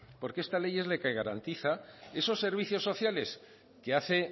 porque esta ley es la que garantiza esos servicios sociales que hace